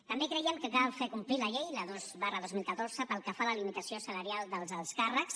també creiem que cal fer complir la llei la dos dos mil catorze pel que fa la limitació salarial dels alts càrrecs